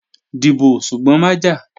Dìbò, ṣùgbọ́n má jà!